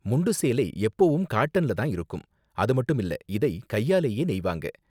முண்டு சேலை எப்போவும் காட்டன்ல தான் இருக்கும், அது மட்டும் இல்ல, இதை கையாலேயே நெய்வாங்க.